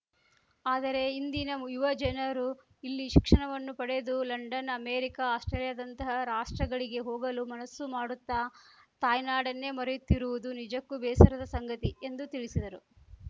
ಆದರೆ ಇಂದಿನ ಯುವ ಜನರು ಇಲ್ಲಿ ಶಿಕ್ಷಣವನ್ನು ಪಡೆದು ಲಂಡನ್‌ ಅಮೇರಿಕಾ ಆಸ್ಪ್ರೇಲಿಯಾದಂತಹ ರಾಷ್ಟ್ರಗಳಿಗೆ ಹೋಗಲು ಮನಸ್ಸು ಮಾಡುತ್ತಾ ತಾಯ್ನಾಡನ್ನೇ ಮರೆಯುತ್ತಿರುವುದು ನಿಜಕ್ಕೂ ಬೇಸರದ ಸಂಗತಿ ಎಂದು ತಿಳಿಸಿದರು